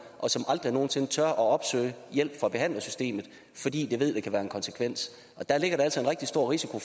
og som aldrig nogen sinde tør opsøge hjælp fra behandlersystemet fordi de ved det kan være en konsekvens der ligger der altså en rigtig stor risiko